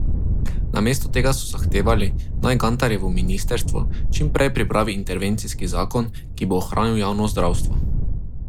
Namesto tega so zahtevali, naj Gantarjevo ministrstvo čim prej pripravi intervencijski zakon, ki bo ohranil javno zdravstvo.